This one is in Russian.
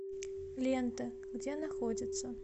лента где находится